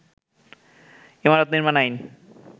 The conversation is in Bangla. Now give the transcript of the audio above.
ইমারত নির্মাণ আইন